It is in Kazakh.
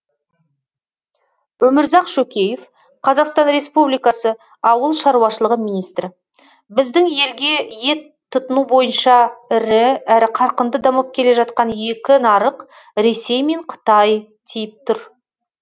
өмірзақ шөкеев қазақстан республикасы ауыл шаруашылығы министрі біздің елге ет тұтыну бойынша ірі әрі қарқынды дамып келе жатқан екі нарық ресей мен қытай тиіп тұр